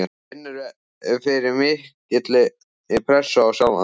Finnurðu fyrir mikilli pressu á sjálfan þig?